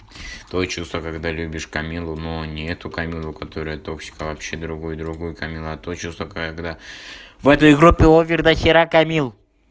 то чувство когда любишь камиллу но не эту камиллу которая топчик а вообще другую другую камиллу а то чувство когда в этой европе овер дохера камилл